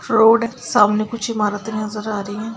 Road हैसामने कुछ इमारते नजर आ रही है।